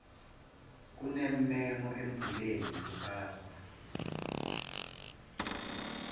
kunemmemo embuleni kusasa